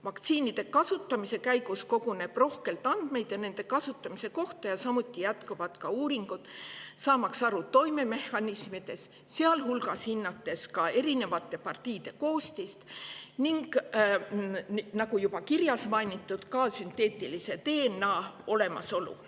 Vaktsiinide kasutamise käigus koguneb rohkelt andmeid nende kasutamise kohta ja samuti jätkuvad uuringud, saamaks aru toimemehhanismidest, sealhulgas hinnatakse erinevate partiide koostist ning, nagu juba kirjas mainiti, ka sünteetilise DNA olemasolu.